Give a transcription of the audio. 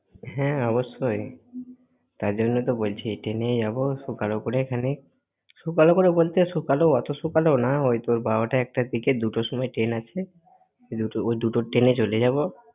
হ্যাঁ অবশ্যই। তাই জন্য তো বলছি train এই যাব সকাল করে এখানে, । সকাল করে বলতে সকালে~ অতো সকালেও না ওই তোর বারোটা একটার দিকে দুটো সময় train আছে। দুটো~ ওই দুটোর train এ চলে যাব।